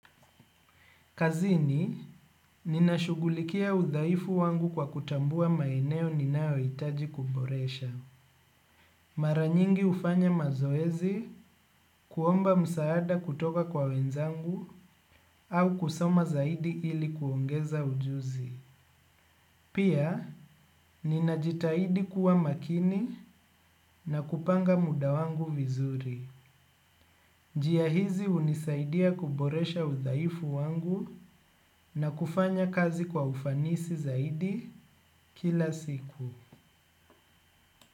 Kazini, ninashugulikia udhaifu wangu kwa kutambua maeneo ninaoitaji kuboresha. Mara nyingi ufanya mazoezi kuomba msaada kutoka kwa wenzangu au kusoma zaidi ili kuongeza ujuzi. Pia, ninajitaidi kuwa makini na kupanga muda wangu vizuri. Jia hizi unisaidia kuboresha udhaifu wangu na kufanya kazi kwa ufanisi zaidi kila siku.